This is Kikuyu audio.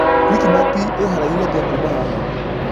Quick Mart iharaihü atĩa kuuma haha